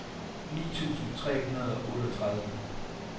ni tusind tre hundrede og otteogtredive